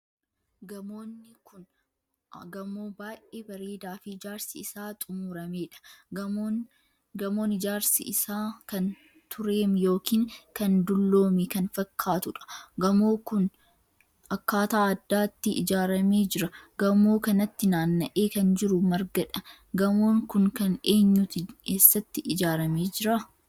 Gamoonni kun gamoo baay'ee bareedaa fi ijaarsi isaa xumurameedha. Gamoonni ijaarsi isaa kan tureem ykn kan dulloomee kan fakkaatuudha. gamoo ku akkaataa addaatti ijaarame jira. gamoo kanatti naanna'ee kan jiru margadha. gamoon Kun kan eenyuti eessatti ijaarame jira?